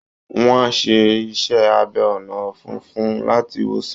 Wọ́n á ṣe iṣẹ́ abẹ ọ̀nà ọ̀fun fún un láti wòsàn